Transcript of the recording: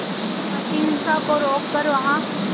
ताकि हिंसा को रोक कर वहां